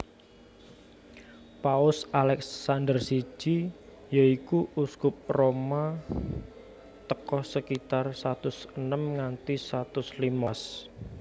Paus Alèxandèr siji yoiku Uskup Roma tèko sekitar satus enem nganti satus limolas